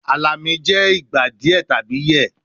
Alami le jẹ igba diẹ tabi yẹ